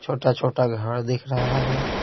छोटा-छोटा घर दिख रहा है।